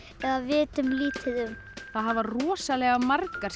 eða vitum lítið um það hafa rosalega margar